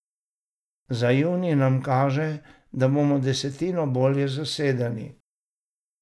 Za junij nam kaže, da bomo desetino bolje zasedeni.